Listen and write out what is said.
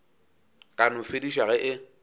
ka no fedišwa ge e